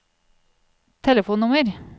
telefonnummer